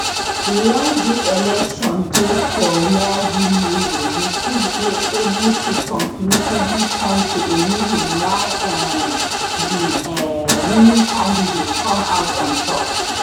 once dis election dey for rearview mirror we fit dey able to conclusively point to a reason why um di um winning candidate come out on top